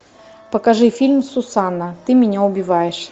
покажи фильм сусанна ты меня убиваешь